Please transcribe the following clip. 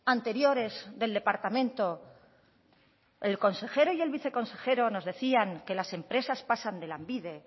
anteriores del departamento el consejero y el viceconsejero nos decían que las empresas pasan de lanbide